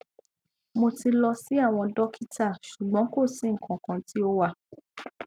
mo ti lọ si awọn dokita ṣugbọn ko si nkankan ti o wa